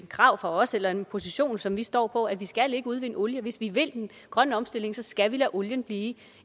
krav fra os eller en position som vi står på at vi ikke skal udvinde olie hvis vi vil den grønne omstilling skal vi lade olien blive